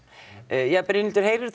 jæja Brynhildur heyrirðu